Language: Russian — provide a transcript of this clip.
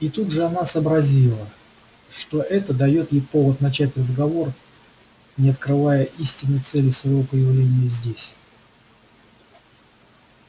и тут же она сообразила что это даёт ей повод начать разговор не открывая истинной цели своего появления здесь